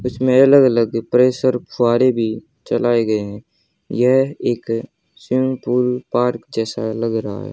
उसमें अलग अलग प्रेशर फुव्वारे भी चलाए गए हैं यह एक स्विमिंग पूल पार्क जैसा लग रहा है।